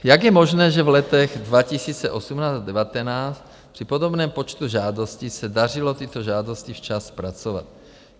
Jak je možné, že v letech 2018 a 2019 při podobném počtu žádostí se dařilo tyto žádosti včas zpracovat?